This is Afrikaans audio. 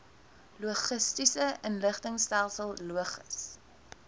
logistiese inligtingstelsel logis